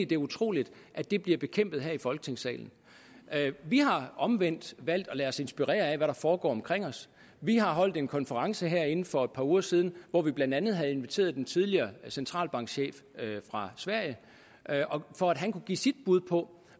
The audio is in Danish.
det er utroligt at det bliver bekæmpet her i folketingssalen vi har omvendt valgt at lade os inspirere af hvad der foregår omkring os vi har holdt en konference herinde for et par uger siden hvor vi blandt andet havde inviteret den tidligere centralbankchef fra sverige for at give sit bud på